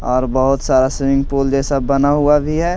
और बहुत सारा स्विमिंग पूल जैसा बना हुआ भी है।